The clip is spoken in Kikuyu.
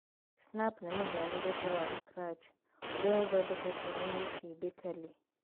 Snap nĩ mũhianĩre ta wa Scratch, ũrĩa ũthondeketwo nĩ UC Berkeley.